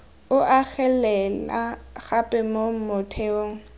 o agelela gape mo motheong